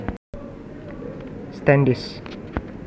Standish